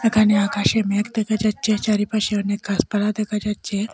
এখানে আকাশে মেঘ দেকা যাচ্চে চারিপাশে অনেক গাসপালা দেকা যাচ্চে।